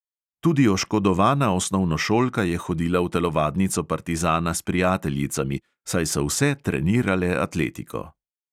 Tudi oškodovana osnovnošolka je hodila v telovadnico partizana s prijateljicami, saj so vse trenirale atletiko.